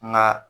Nka